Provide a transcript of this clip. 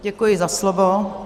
Děkuji za slovo.